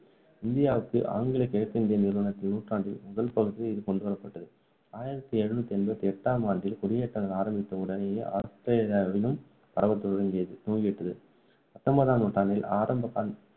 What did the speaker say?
இந்தியாவுக்கு ஆங்கிலேய கிழக்கிந்திய நிறுவனத்தின் நூற்றாண்டின் முதல் பகுதியில் இது கொண்டுவரப்பட்டது. ஆயிரத்து எழுநூத்து எண்பத்து எட்டாம் ஆண்டில் குடியேற்றங்கள் ஆரம்பித்த உடனேயே ஆஸ்திரேலியாவில் பரவ துவங்கியது துவங்கிவிட்டது. பத்தொன்பதாம் நூற்றாண்டின் ஆரம்ப